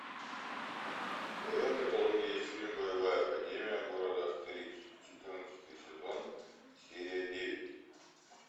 в твоем каталоге есть фильм боевая академия города астериск четырнадцатый сезон серия девять